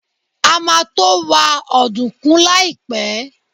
A máa to wa ọ̀dùnkún láìpẹ́.